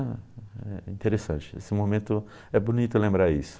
É é interessante isso, esse momento, é bonito lembrar isso.